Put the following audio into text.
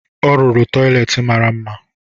Ọ rụrụ tọyịleetị mara mma